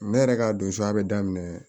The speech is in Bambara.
Ne yɛrɛ ka don soya be daminɛ